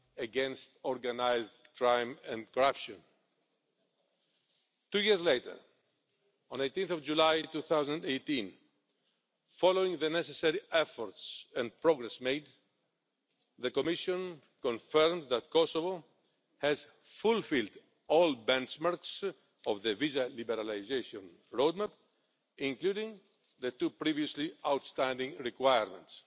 against organised crime and corruption. Two years later, on 18 July 2018, following the necessary efforts and progress, the Commission confirmed that Kosovo has fulfilled all benchmarks of the visa liberalisation roadmap, including the two previously outstanding requirements.